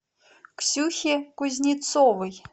ксюхе кузнецовой